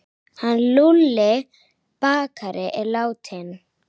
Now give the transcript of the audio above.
Hann Lúlli bakari er látinn.